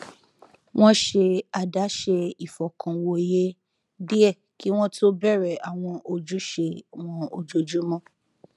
wón ṣe àdáṣe ìfọkànwòye díẹ kí wón tó bèrè àwọn ojúṣe wọn ojoojúmó